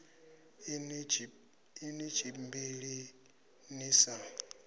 a ni tshimbili ni sa